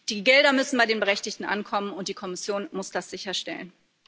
Die Gelder müssen bei den Berechtigten ankommen, und die Kommission muss das sicherstellen.